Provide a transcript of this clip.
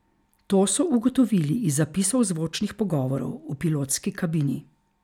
To so ugotovili iz zapisov zvočnih pogovorov v pilotski kabini.